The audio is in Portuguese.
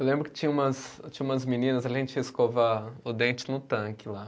Eu lembro que tinha umas, tinha umas meninas, a gente ia escovar o dente no tanque lá.